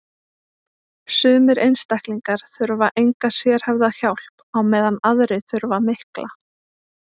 sumir einstaklingar þurfa enga sérhæfða hjálp á meðan aðrir þurfa mikla